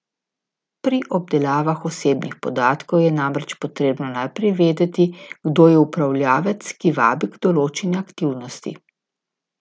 Pri obdelavah osebnih podatkov je namreč potrebno najprej vedeti, kdo je upravljavec, ki vabi k določeni aktivnosti.